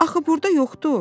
Axı burda yoxdur.